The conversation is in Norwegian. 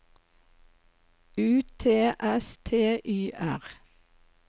U T S T Y R